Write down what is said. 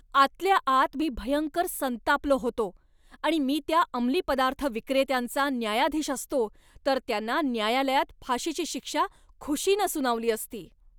आतल्या आत मी भयंकर संतापलो होतो आणि मी त्या अमली पदार्थ विक्रेत्यांचा न्यायाधीश असतो तर त्यांना न्यायालयात फाशीची शिक्षा खुशीनं सुनावली असती.